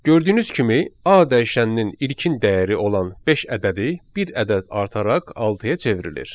Gördüyünüz kimi A dəyişəninin ilkin dəyəri olan beş ədədi bir ədəd artıraraq altıya çevrilir.